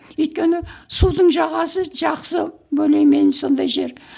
өйткені судың жағасы жақсы более менее сондай жер